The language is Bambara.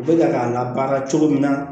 U bɛ ka k'a labaara cogo min na